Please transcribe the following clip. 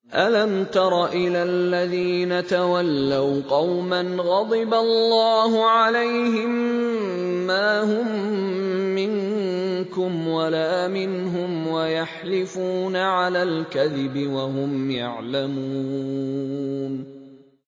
۞ أَلَمْ تَرَ إِلَى الَّذِينَ تَوَلَّوْا قَوْمًا غَضِبَ اللَّهُ عَلَيْهِم مَّا هُم مِّنكُمْ وَلَا مِنْهُمْ وَيَحْلِفُونَ عَلَى الْكَذِبِ وَهُمْ يَعْلَمُونَ